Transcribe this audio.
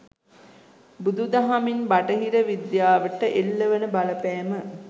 බුදු දහමින් බටහිර විද්‍යාවට එල්ල වන බලපෑම